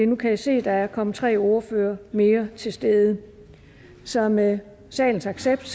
nu kan jeg se at der er kommet tre ordførere mere til stede så med salens accept